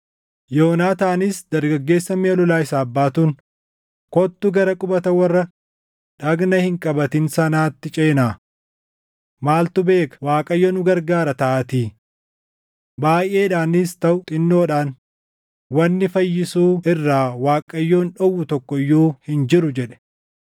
Yoonaataanis dargaggeessa miʼa lolaa isaaf baatuun, “Kottu gara qubata warra dhagna hin qabatin sanaatti ceenaa. Maaltu beeka Waaqayyo nu gargaara taʼaatii. Baayʼeedhaanis taʼu xinnoodhaan wanni fayyisuu irraa Waaqayyoon dhowwu tokko iyyuu hin jiru” jedhe.